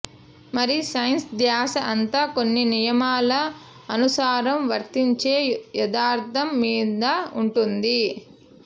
మరి సైన్స్ ధ్యాస అంతా కొన్ని నియమాల అనుసారం వర్తించే యదార్థం మీద ఉంటుంది